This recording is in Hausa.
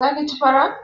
Za ka ci fara?